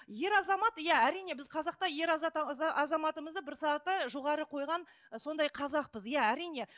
ер азамат иә әрине біз қазақта ер азаматымызды бір саты жоғары қойған сондай қазақпыз иә әрине